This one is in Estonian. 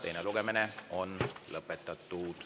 Teine lugemine on lõpetatud.